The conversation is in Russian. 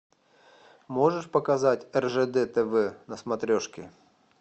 можешь показать ржд тв на смотрешке